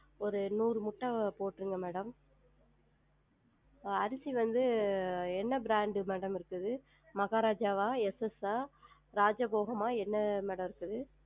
ஒரு நூறு முட்ட போற்றுங்க madam அரிசி வந்து என்ன brand madam இருக்குது மகாராஜா வா SS ஆ, ராஜபோகம் ஆ, என்ன madam இருக்குது?